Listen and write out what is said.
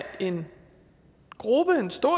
en gruppe en stor